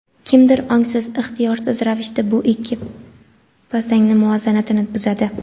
kimdir ongsiz-ixtiyorsiz ravishda bu ikki posangi muvozanatini buzadi.